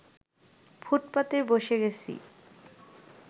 ফুটপাতেই বসে গেছি